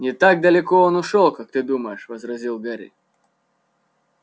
не так далеко он ушёл как ты думаешь возразил гарри